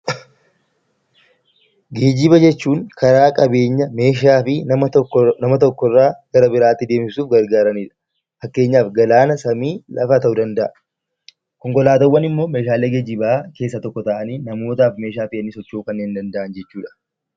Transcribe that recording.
Geejiba jechuun karaa qabeenya, namaa fi bifa lafa tokko irraa gara biraatti deemsisuu gargaaranidha. Fakkeenyaaf galaana, lafa, samii ta'uu danda'a. Konkolaataawwan immoo Meeshaalee geejibaa keessaa tokko ta'anii namootaaf akka tajaajila kennaniin kanneen socho'uu danda'an jechuudha.